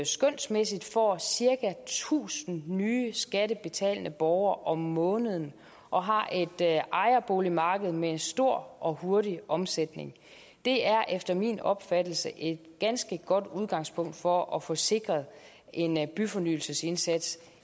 skønsmæssigt får cirka tusind nye skattebetalende borgere om måneden og har et ejerboligmarked med stor og hurtig omsætning det er efter min opfattelse et ganske godt udgangspunkt for at få sikret en byfornyelsesindsats